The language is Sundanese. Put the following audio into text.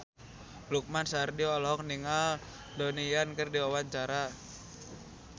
Lukman Sardi olohok ningali Donnie Yan keur diwawancara